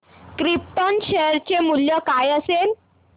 krypton share चे मूल्य काय असेल